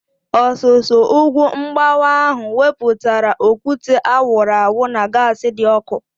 Ọsusu ugwu mgbawa ahu wepụtara okwute a wụrụ awụ na gaasi dị ọkụ